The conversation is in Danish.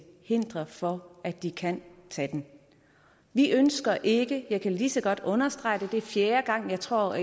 hinder for at de kan tage den vi ønsker ikke jeg kan lige så godt understrege det er fjerde gang tror